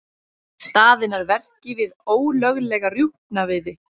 Staðinn að verki við ólöglega rjúpnaveiði